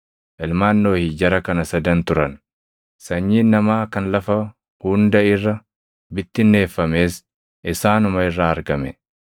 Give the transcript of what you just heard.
Ilmaan Nohi jara kana sadan turan; sanyiin namaa kan lafa hunda irra bittinneeffames isaanuma irraa argame.